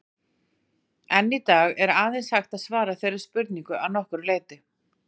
Enn í dag er aðeins hægt að svara þeirri spurningu að nokkru leyti.